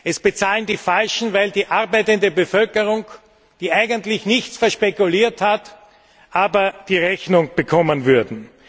Es bezahlen die Falschen, weil die arbeitende Bevölkerung, die eigentlich nichts verspekuliert hat, die Rechnung bekommen würde.